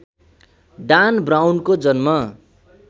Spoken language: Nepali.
डान ब्राउनको जन्म